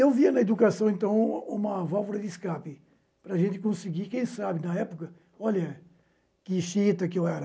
Eu via na educação, então, uma válvula de escape para a gente conseguir, quem sabe, na época, olha que xiinta que eu era.